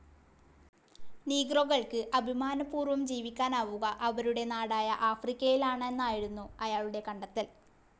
നീഗ്രോകൾക്ക് അഭിമാനപൂർവം ജീവിക്കാനാവുക അവരുടെ നാടായ ആഫ്രിക്കയിലാണെന്നായിരുന്നു അയാളുടെ കണ്ടെത്തൽ.